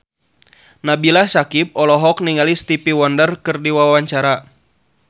Nabila Syakieb olohok ningali Stevie Wonder keur diwawancara